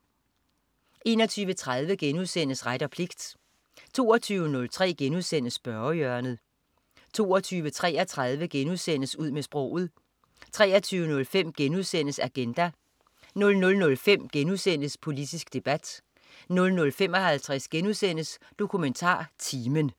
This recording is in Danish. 21.30 Ret og pligt* 22.03 Spørgehjørnet* 22.33 Ud med sproget* 23.05 Agenda* 00.05 Politisk debat* 00.55 DokumentarTimen*